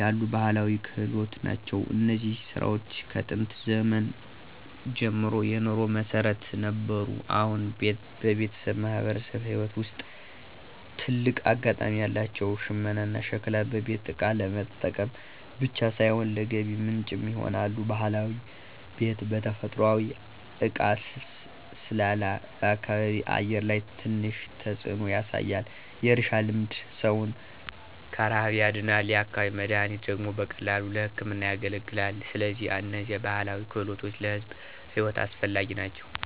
ያሉ ባህላዊ ክህሎት ናቸው። እነዚህ ሥራዎች ከጥንት ዘመን ጀምሮ የኑሮ መሠረት ነበሩ፣ አሁንም በቤተሰብና በማህበረሰብ ሕይወት ውስጥ ትልቅ አጋጣሚ አላቸው። ሽመናና ሸክላ በቤት እቃ ለመጠቀም ብቻ ሳይሆን ለገቢ ምንጭም ይሆናሉ። ባህላዊ ቤት በተፈጥሯዊ እቃ ስላለ በአካባቢ አየር ላይ ትንሽ ተጽዕኖ ያሳያል። የእርሻ ልማድ ሰውን ከረሃብ ያድናል፤ የአካባቢ መድኃኒት ደግሞ በቀላሉ ለሕክምና ያገለግላል። ስለዚህ እነዚህ ባህላዊ ክህሎቶች ለሕዝብ ሕይወት አስፈላጊ ናቸው።